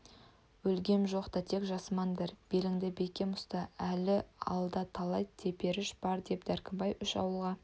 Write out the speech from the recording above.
өлгем жоқ тек жасымандар беліңді бекем ұста әлі алда талай теперіш бар деп дәркембай үш ауылға